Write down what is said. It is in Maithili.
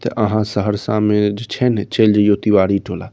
ते अहा सहरसा में जो छे ने चल जइओ तिवारी टोला।